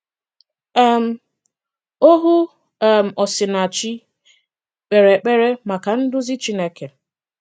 um Ohù um Osinàchì k̀pèrè èkpèrè maka nduzi Chineke.